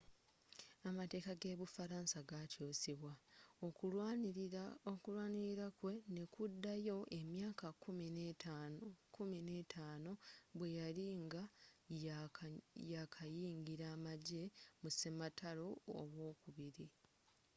amateka ge bu faransa gakyusibwa okulwanilila kwe nekudayo emyaka kkumi n'etaano 15 bweyali nga yakayingila amagye mu sematalo owokubiri